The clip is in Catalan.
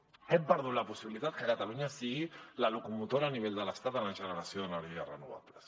crec que hem perdut la possibilitat de que catalunya sigui la locomotora a nivell de l’estat en la generació d’energies renovables